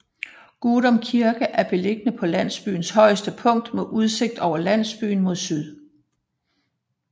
Gudum Kirke er beliggende på landsbyens højeste punkt med udsigt over landsbyen mod syd